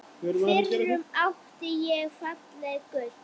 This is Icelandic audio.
FYRRUM ÁTTI ÉG FALLEG GULL